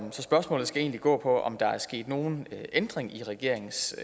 så spørgsmålet skal egentlig gå på om der er sket nogen ændring i regeringens